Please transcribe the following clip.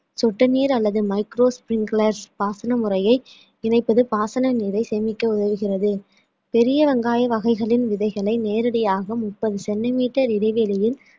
சொட்டு நீர் அல்லது micro sprinklers பாசன முறைய இணைப்பது பாசன நீரை சேமிக்க உதவுகிறது பெரிய வெங்காய வகைகளின் விதைகளை நேரடியாக முப்பது centimetre இடைவெளியில்